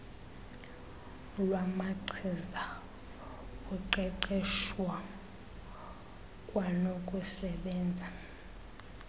lwamachiza uqeqeswho kwanokusebenza